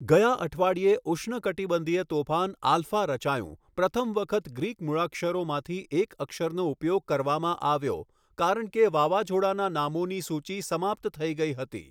ગયા અઠવાડિયે ઉષ્ણકટિબંધીય તોફાન આલ્ફા રચાયું, પ્રથમ વખત ગ્રીક મૂળાક્ષરોમાંથી એક અક્ષરનો ઉપયોગ કરવામાં આવ્યો કારણ કે વાવાઝોડાંના નામોની સૂચિ સમાપ્ત થઈ ગઈ હતી.